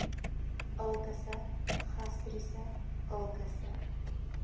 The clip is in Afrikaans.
ulkusse gastriese ulkusse